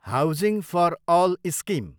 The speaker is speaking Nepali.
housing for all scheme